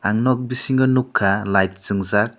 nog bisingo nogkha light swngjak.